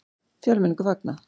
Fjölmenningu fagnað